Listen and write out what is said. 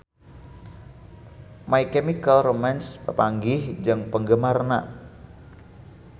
My Chemical Romance papanggih jeung penggemarna